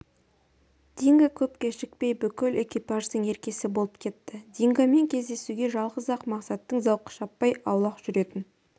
динго көп кешікпей бүкіл экипаждың еркесі болып кетті дингомен кездесуге жалғыз-ақ мақсатның зауқы шаппай аулақ жүретін